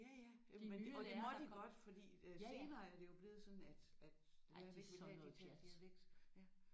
Ja ja de og det måtte I godt fordi øh senere er det jo blevet sådan at at lærere de begyndte ikke at tale dialekt ja